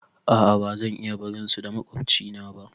A a ba zan iya barin su da maƙwabcina ba